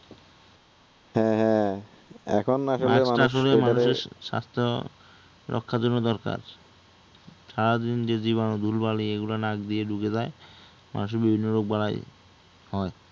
এখন আসলে মানুষের স্বাস্থ্য রক্ষার জন্য দরকার সারাদিন যে জীবাণুগুলো, ধুলাবালিগুলো নাক দিয়ে ঢুকে যায় মানুষের রোগবালাই হয়